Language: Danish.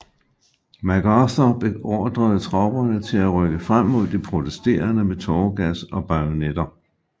MacArthur beordrede tropperne til at rykke frem mod de protesterende med tåregas og bajonetter